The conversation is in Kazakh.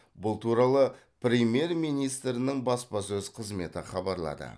бұл туралы премьер министрінің баспасөз қызметі хабарлады